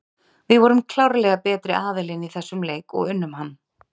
Við vorum klárlega betri aðilinn í þessum leik og unnum hann.